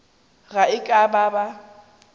ge e ka ba ba